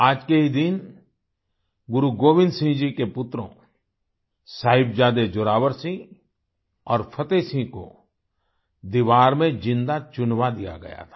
आज के ही दिन गुरु गोविंद जी के पुत्रों साहिबजादे जोरावर सिंह और फतेह सिंह को दीवार में जिंदा चुनवा दिया गया था